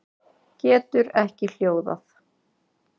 Getur ekki hljóðað.